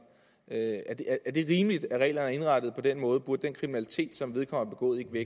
er det rimeligt at reglerne er indrettet på den måde burde den kriminalitet som vedkommende